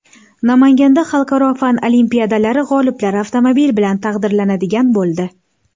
Namanganda xalqaro fan olimpiadalari g‘oliblari avtomobil bilan taqdirlanadigan bo‘ldi.